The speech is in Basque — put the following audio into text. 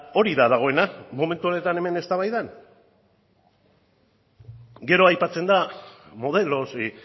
hori da dagoena momentu honetan hemen eztabaidan gero aipatzen da modelos y